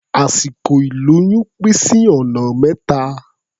Àsìkò ìlóyún pín sí ọ̀nà mẹ́ta.